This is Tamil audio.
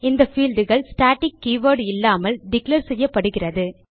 இந்த fieldகள் ஸ்டாட்டிக் கீவர்ட் இல்லாமல் டிக்ளேர் செய்யப்படுகிறது